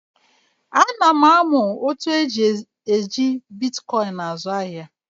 A na m amụ otu esi eji Bịtkoin àzụ ahịa